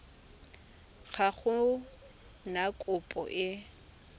ga go na kopo e